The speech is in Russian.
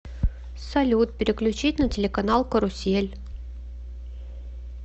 салют переключить на телеканал карусель